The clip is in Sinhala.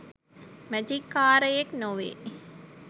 මැජික් කාරයෙක් නොවේ